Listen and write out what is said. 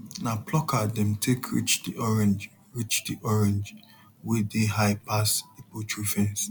na plucker dem take reach the orange reach the orange wey dey high pass the poultry fence